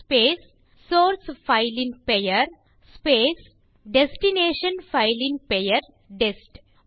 space source file ன் பெயர் space destination file ன் பெயர் டெஸ்ட்